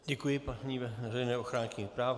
Děkuji paní veřejné ochránkyni práv.